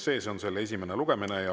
See on selle esimene lugemine.